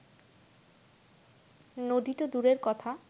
নদী তো দূরের কথা